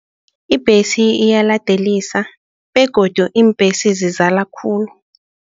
Ibhesi iyaladelisa begodu iimbhesi zizala khulu.